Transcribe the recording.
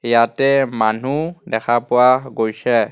ইয়াতে মানুহ দেখা পোৱা গৈছে.